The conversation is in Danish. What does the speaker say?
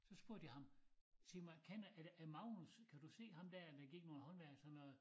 Så spurgte jeg ham sig mig kender er det er Magnus kan du se ham dér der gik nogen håndværk så noget